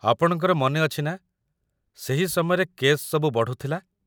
ଆପଣଙ୍କର ମନେଅଛି ନା ସେହି ସମୟରେ କେସ୍ ସବୁ ବଢ଼ୁଥିଲା?